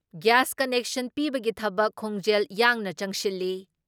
Gas connection ꯄꯤꯕꯒꯤ ꯊꯕꯛ ꯈꯣꯡꯖꯦꯜ ꯌꯥꯡꯅ ꯆꯪꯁꯤꯜꯂꯤ ꯫